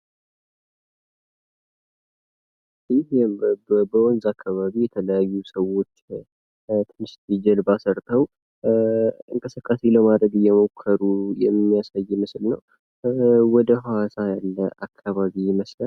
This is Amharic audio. ይህ በወንዝ አካባቢ የተለያዩ ሰዎች ትንሽዬ ጀልባ ሰርተው እንቅስቃሴ ለማድረግ እየሞከሩ የሚያሳይ ምስል ነው። ወደ ሐዋሳ ያለ አካባቢ ይመስላል።